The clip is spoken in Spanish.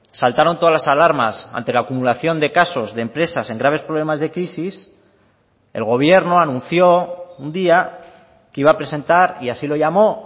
saltaron todas las alarmas ante la acumulación de casos de empresas en graves problemas de crisis el gobierno anunció un día que iba a presentar y así lo llamó